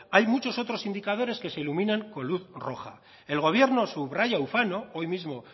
hay muchos otros indicadores que se iluminen con luz roja el gobierno subraya ufano hoy mismo